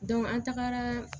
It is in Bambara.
an tagara